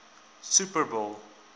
super bowl